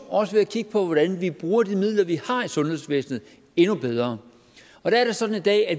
også kigge på hvordan vi bruger de midler vi har i sundhedsvæsenet endnu bedre der er det sådan i dag at